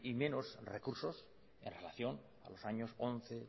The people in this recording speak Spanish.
menos recursos en relación con los años once